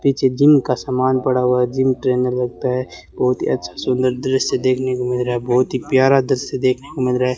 पीछे जिम का सामान पड़ा हुआ है जिम ट्रेनर लगता है बहुत ही अच्छा सुंदर दृश्य देखने को मिल रहा है बहुत ही प्यारा दृश्य देखने को मिल रहा है।